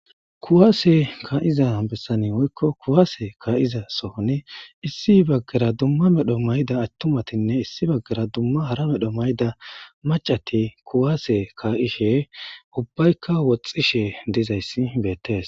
Kuwaase ka'iza bessani woykko kuwaase ka'iza sohoni issi baggara dumma medho mayda attumatinne issi baggara dumma hara medho mayda macati kuwaase ka'ishe ubbaykka woxxishe dizayssi beettees.